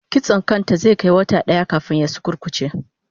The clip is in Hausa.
Kitson kan ta zai kai wata daya kafin ya sukurkuce